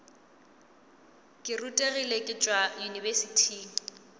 ke rutegile ke tšwa yunibesithing